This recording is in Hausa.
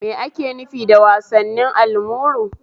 Me ake nufi da wasannin almuru?